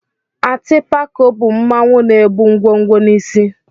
Atịpako bụ mmanwụ na-ebu ngwo ngwo n'isí.